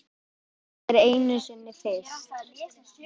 Allt er einu sinni fyrst.